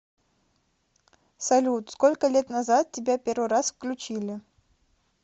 салют сколько лет назад тебя первый раз включили